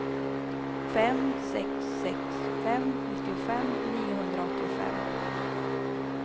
fem sex sex fem nittiofem niohundraåttiofem